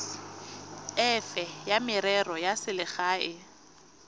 efe ya merero ya selegae